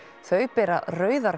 þau bera rauðar